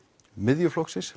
Miðflokksins